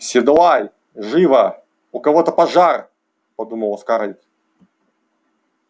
седлай живо у кого-то пожар подумала скарлетт